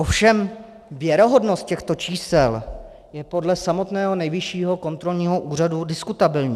Ovšem věrohodnost těchto čísel je podle samotného Nejvyššího kontrolního úřadu diskutabilní.